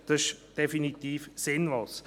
Das ist definitiv sinnlos.